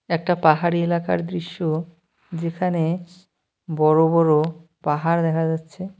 একটা পাহাড়ি এলাকার দৃশ্য যেখানে বড় বড় পাহাড় দেখা যাচ্ছে।